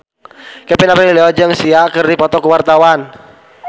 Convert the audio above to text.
Kevin Aprilio jeung Sia keur dipoto ku wartawan